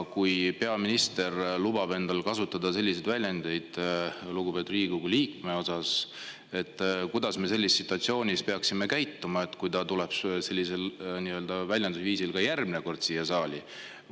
Kui peaminister lubab endale lugupeetud Riigikogu liikme suhtes selliste väljendite kasutamist, siis kuidas me peaksime käituma situatsioonis, kui ta ka järgmine kord siia saali tulles sellist väljendusviisi?